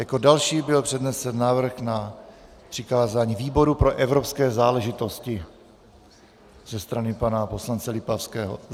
Jako další byl přednesen návrh na přikázání výboru pro evropské záležitosti ze strany pana poslance Lipavského.